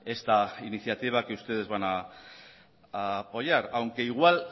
esta iniciativa que ustedes van a apoyar aunque igual